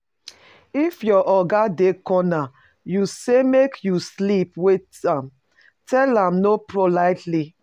If your oga dey corner you sey make you sleep witn am, tell am no politely